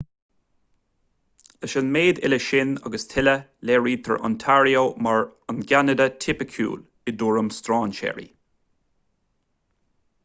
leis an méid uile sin agus tuilleadh léirítear ontario mar an gceanada tipiciúil i dtuairim strainséirí